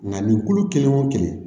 Nka nin kulu kelen o kelen